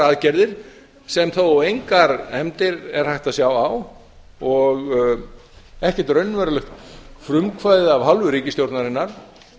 aðgerðir sem þó engar efndir er hægt að sjá á og ekkert raunverulegt frumkvæði af hálfu ríkisstjórnarinnar